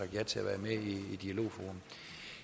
ja til at være med i dialogforum